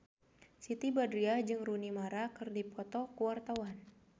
Siti Badriah jeung Rooney Mara keur dipoto ku wartawan